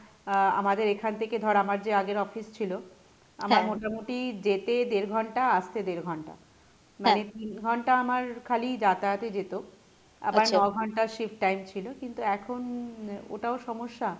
আহ আমাদের এখান থেকে ধর আমার যে আগের office ছিলো আমার মোটামটি যেতে দেড় ঘন্টা, আসতে দেড় ঘন্টা মানে তিন ঘন্টা আমার খালি যাতায়াতে যেত, আবার ন ঘন্টা shift time ছিলো কিন্তু এখন ওটাও সমস্যা,